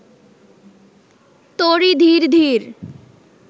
তরী ধীর ধীর